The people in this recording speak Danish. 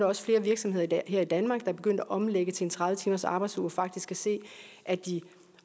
også flere virksomheder her i danmark der er begyndt at omlægge til en tredive timersarbejdsuge og faktisk kan se at de